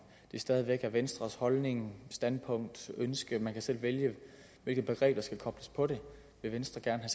det stadig væk er venstres holdning standpunkt ønske man kan selv vælge hvilket begreb der skal kobles på det vil venstre gerne